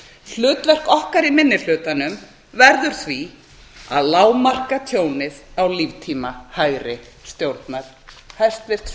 hlutverk okkar í minni hlutanum verður því að lágmarka tjónið á líftíma hægri stjórnar hæstvirts